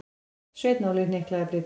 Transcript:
Sveinn Óli hnyklaði brýnnar.